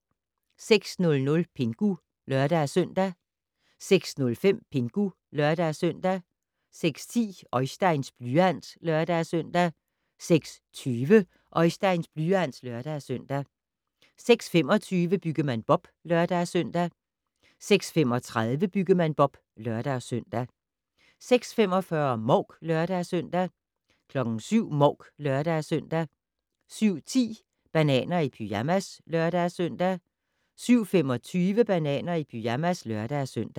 06:00: Pingu (lør-søn) 06:05: Pingu (lør-søn) 06:10: Oisteins blyant (lør-søn) 06:20: Oisteins blyant (lør-søn) 06:25: Byggemand Bob (lør-søn) 06:35: Byggemand Bob (lør-søn) 06:45: Mouk (lør-søn) 07:00: Mouk (lør-søn) 07:10: Bananer i pyjamas (lør-søn) 07:25: Bananer i pyjamas (lør-søn)